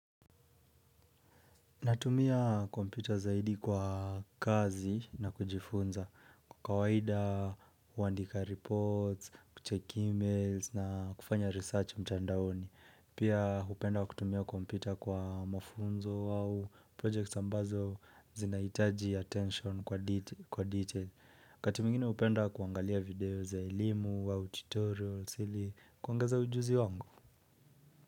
Natumia kompyuta zaidi kwa kazi na kujifunza. Kwa kawaida, uandika reports, kucheck emails na kufanya research mchandaoni. Pia upenda kutumia kompyuta kwa mafunzo au projects ambazo zinahitaji attention kwa details. Kati mwingine upenda kuangalia video za elimu au tutorials ili kuangeza ujuzi wangu.